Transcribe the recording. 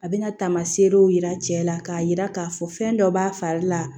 A bɛna taamaserew yira cɛla k'a jira k'a fɔ fɛn dɔ b'a fari la